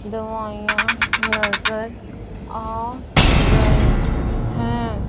दवाइयां नजर आ रहे हैं।